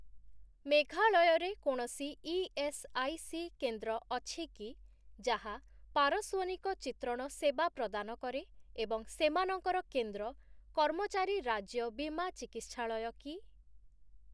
ମେଘାଳୟ ରେ କୌଣସି ଇଏସ୍ଆଇସି କେନ୍ଦ୍ର ଅଛି କି ଯାହା ପାରସ୍ଵନିକ ଚିତ୍ରଣ ସେବା ପ୍ରଦାନ କରେ ଏବଂ ସେମାନଙ୍କର କେନ୍ଦ୍ର 'କର୍ମଚାରୀ ରାଜ୍ୟ ବୀମା ଚିକିତ୍ସାଳୟ' କି?